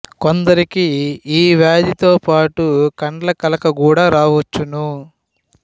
కొందరికి ఈ వ్యాధితో పాటు కండ్ల కలక గూడ రావచ్చును